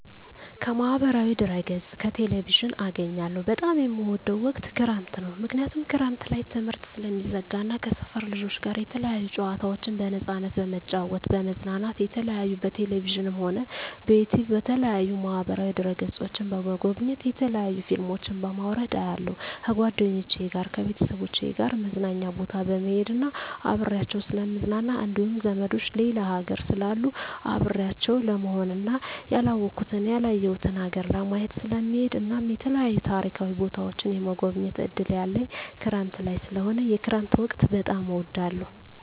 ከማህበራዊ ድህረገፅ ከቴሌቪዥን አገኛለሁ በጣም የምወደዉ ወቅት ክረምት ነዉ ምክንያቱም ክረምት ላይ ትምህርት ስለሚዘጋ እና ከሰፈር ልጆች ጋር የተለያዩ ጨዋታዎችን በነፃነት በመጫወት በመዝናናት የተለያዩ በቴሌቪዥንም ሆነ በዩቱዩብ በተለያዩ ማህበራዋ ድህረ ገፆችን በመጎብኘት የተለያዩ ፊልሞችን በማዉረድ አያለሁ ከጓደኞቸ ጋር ከቤተሰቦቸ ጋር መዝናኛ ቦታ በመሄድና አብሬያቸዉ ስለምዝናና እንዲሁም ዘመዶቸ ሌላ ሀገር ስላሉ አብሬያቸው ለመሆንና ያላወኩትን ያላየሁትን ሀገር ለማየት ስለምሄድ እናም የተለያዩ ታሪካዊ ቦታዎችን የመጎብኘት እድል ያለኝ ክረምት ላይ ስለሆነ የክረምት ወቅት በጣም እወዳለሁ